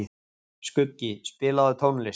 Skuggi, spilaðu tónlist.